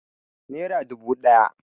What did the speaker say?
Nera dubu ɗaya